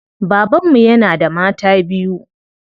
Baban mu yana da mata biyu.